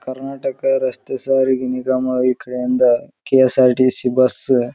ಕರ್ನಾಟಕ ರಸ್ತೆ ಸಾರಿಗೆ ನಿ ಗಮ ಈ ಕಡೆ ಇಂದ್ ಕೆ.ಯಸ್.ಆರ್.ಟಿ.ಸಿ ಬಸ್ --